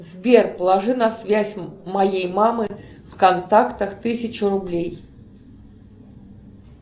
сбер положи на связь моей мамы в контактах тысячу рублей